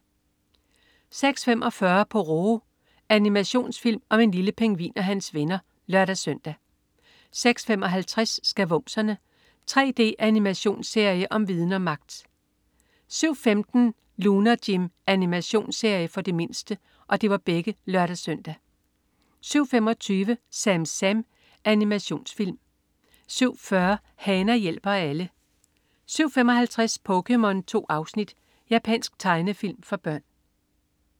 06.45 Pororo. Animationsfilm om en lille pingvin og hans venner (lør-søn) 06.55 Skavumserne. 3D-animationsserie om viden og magt! (lør-søn) 07.15 Lunar Jim. Animationsserie for de mindste (lør-søn) 07.25 SamSam. Animationsfilm 07.40 Hana hjælper alle 07.55 POKéMON. 2 afsnit. Japansk tegnefilm for børn